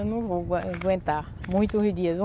Eu não vou aguentar muitos dias.